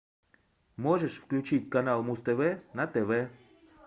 можешь включить канал муз тв на тв